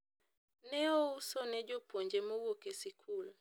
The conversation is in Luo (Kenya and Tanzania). ne ouso ne jopuonje mowuok e sikul